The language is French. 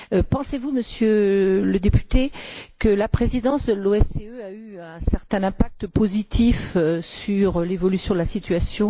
Pensez vous, Monsieur le député, que la présidence de l'OSCE a eu un certain impact positif sur l'évolution de la situation?